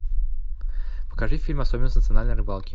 покажи фильм особенности национальной рыбалки